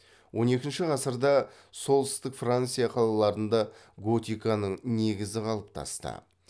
он екінші ғасырда солтүстік франция қалаларында готиканың негізі қалыптасты